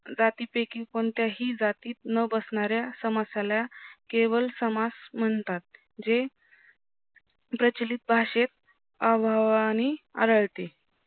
जातीपैकी कोणत्याही जातीत न बसण्याऱ्या समासाला केवळ समास म्हणतात जे प्रचिलीत भाषेत अभावाने आढळते